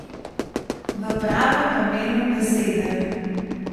V pravem pomenu besede.